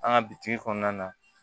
An ka bitigi kɔnɔna na